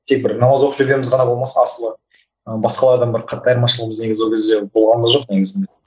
тек бір намаз оқып жүргеніміз ғана болмаса асылы ы басқа адамдар қатты айырмашылығымыз негізі ол кезде болған да жоқ негізінде